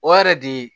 O yɛrɛ di